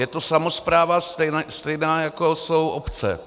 Je to samospráva stejná, jako jsou obce.